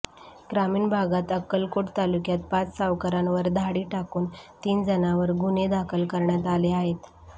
ग्रामीण भागात अक्कलकोट तालुक्यात पाच सावकारांवर धाडी टाकून तीनजणांवर गुन्हे दाखल करण्यात आले आहेत